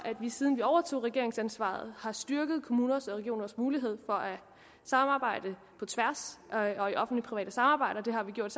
vi siden vi overtog regeringsansvaret har styrket kommuners og regioners mulighed for at samarbejde på tværs og i offentlig private samarbejder det har vi gjort